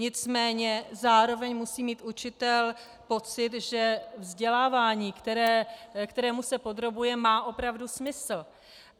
Nicméně zároveň musí mít učitel pocit, že vzdělávání, kterému se podrobuje, má opravdu smysl.